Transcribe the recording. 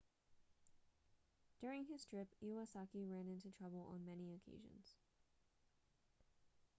during his trip iwasaki ran into trouble on many occasions